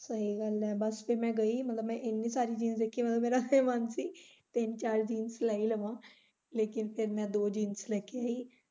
ਸਹੀ ਗੱਲ ਐ ਬੱਸ ਤੇ ਮੈਂ ਗਈ ਮਤਲਬ ਮੈਂ ਏਨੀ ਸਾਰੀ jeans ਦੇਖੀਆਂ ਮਤਲਬ ਮੇਰਾ ਫੇਰ ਮਨ ਸੀ ਤਿੰਨ ਚਾਰ jeans ਲੈ ਹੀ ਲਵਾ ਲੇਕਿਨ ਫੇਰ ਮੈਂ ਦੋ jeans ਲੈ ਕੇ ਆਈ।